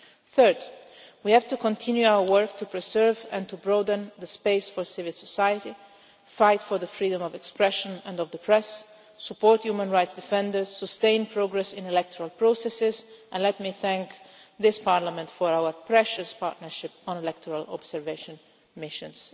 Third, we have to continue our work to preserve and to broaden the space for civil society, to fight for the freedom of expression and of the press, support human rights defenders, sustain progress in electoral processes and let me thank this Parliament for our precious partnership on electoral observation missions.